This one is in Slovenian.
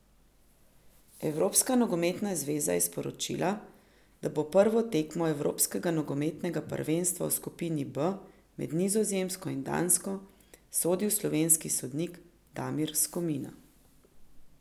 Evropska nogometna zveza je sporočila, da bo prvo tekmo evropskega nogometnega prvenstva v skupini B med Nizozemsko in Dansko sodil slovenski sodnik Damir Skomina.